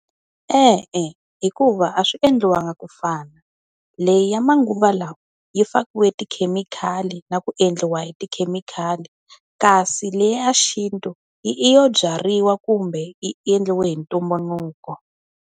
E-e, hikuva a swi endliwa nga ku fana. Leyi ya manguva lawa yi fakiwe tikhemikhali na ku endliwa hi tikhemikhali. Kasi leyi ya xintu, i i yo byariwa kumbe, yi endliwa hi ntumbuluko.